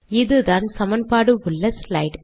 இதுதான் சமன்பாடு உள்ள ஸ்லைட்